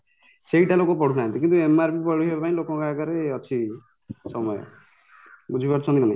ସେଇଟା ଲୋକ ପଢ଼ୁନାହାନ୍ତି କିନ୍ତୁ MRP ପଢିବା ପାଇଁ ଲୋକ ଆଗରେ ଅଛି ସମୟ ବୁଝିପାରୁଛନ୍ତି କି ନାହିଁ